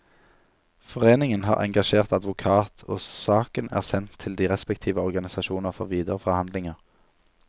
Foreningen har engasjert advokat, og saken er sendt til de respektive organisasjoner for videre forhandlinger.